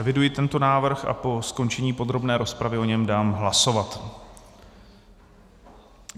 Eviduji tento návrh a po skončení podrobné rozpravy o něm dám hlasovat.